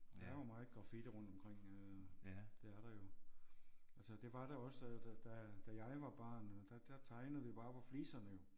Der er jo meget graffiti rundt omkring øh det er der jo. Altså det var der også da da da jeg var barn der der tegnede vi bare på fliserne jo